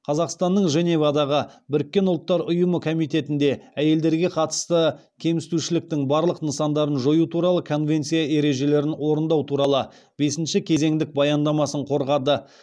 қазақстанның женевадағы біріккен ұлттар ұйымы комитетінде әйелдерге қатысты кемсітушіліктің барлық нысандарын жою туралы конвенция ережелерін орындау туралы бесінші кезеңдік баяндамасын қорғады